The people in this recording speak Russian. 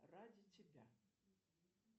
ради тебя